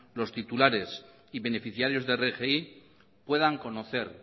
los titulares y beneficiarios de rgi puedan conocer